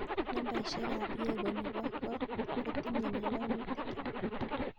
Nambaisyek ab Yegon nebo kot kotinye ngalalutikyuk